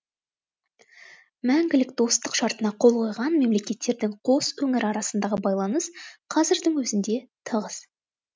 мәңгілік достық шартына қол қойған мемлекеттердің қос өңірі арасындағы байланыс қазірдің өзінде тығыз